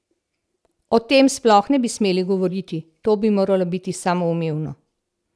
O tem sploh ne bi smeli govoriti, to bi moralo biti samoumevno!